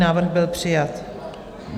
Návrh byl přijat.